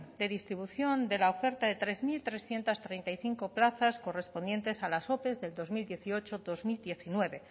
de distribución de la oferta de tres mil trescientos treinta y cinco plazas correspondientes a las ope de dos mil dieciocho dos mil diecinueve